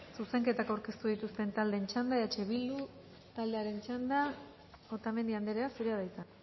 zuzenketak aurkeztu dituzten taldeen txanda eh bildu taldearen txanda otamendi andrea zurea da hitza